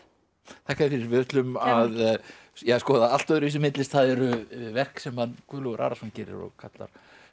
þakka þér fyrir við ætlum að skoða allt öðruvísi myndlist það eru verk sem Guðlaugur Arason gerir og kallar